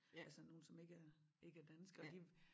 Altså nogen som ikke er ikke er danskere de